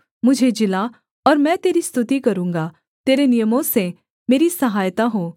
मुझे जिला और मैं तेरी स्तुति करूँगा तेरे नियमों से मेरी सहायता हो